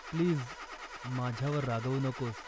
Please माझ्यावर रागावू नकोस.